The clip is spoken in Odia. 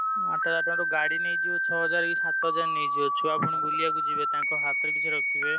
ଆଠହଜାର ଟଙ୍କାରୁ ଗାଡି ନେଇଯିବ ଛଅ ହଜାର କି ସାତ ହଜାର ନେଇଯିବ ଛୁଆ ପୁଣି ବୁଲିବାକୁ ଯିବେ ତାଙ୍କ ହାତରେ କିଛି ରଖିବେ।